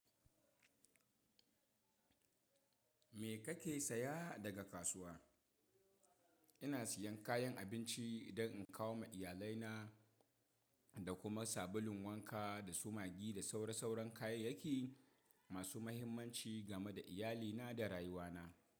Me kake saya daga kasuwa? Ina siyan kayan abinci don in kawo ma iyalai na, da kuma sabulun wanka da sumagi da sauran kayayyaki masu mahimmanci game da iyalina da rayuwana.